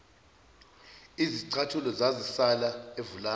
izicathulo zazisala evulandi